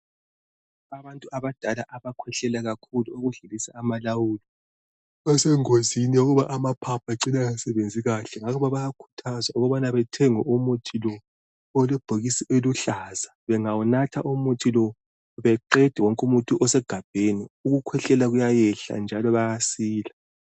Abantu abadala abakhwehlela kakhulu ukudlulisa amalawulo, basengozini yokuba amaphaphu ecine engasebenzi kahle aluba bayakhuthazwa ukubana bathenge umuthi lo olebhokisi eliluhlaza, bengawunatha umuthi lo beqede umuthi wonke osegabheni ukukhwehlela kuyayehla njalo bayasila.